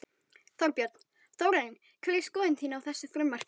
Þorbjörn: Þórarinn hver er skoðun þín á þessu frumvarpi?